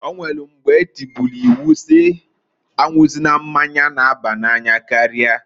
O nwelu mgba etubulu iwu si s'anwụzina mmanya n'abanye n'anya karia.